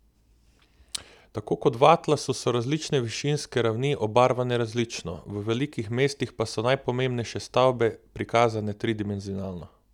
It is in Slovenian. Tako kot v atlasu so različne višinske ravni obarvane različno, v velikih mestih pa so najpomembnejše stavbe prikazane tridimenzionalno.